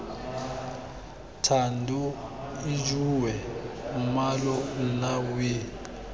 thando ijoowee mmalo nna wee